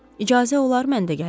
İcazə olar mən də gəlim?